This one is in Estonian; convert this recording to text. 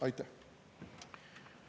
Aitäh!